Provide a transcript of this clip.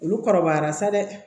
Olu kɔrɔbayara sa dɛ